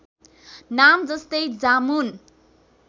नाम जस्तै जामुन